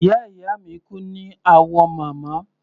Ìyá ìyá mi kú ní Awomama.